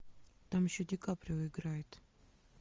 там еще ди каприо играет